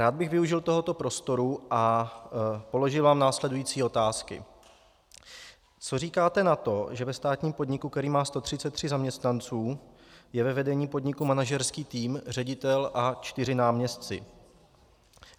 Rád bych využil tohoto prostoru a položil vám následující otázky: Co říkáte na to, že ve státním podniku, který má 133 zaměstnanců, je ve vedení podniku manažerský tým ředitel a čtyři náměstci?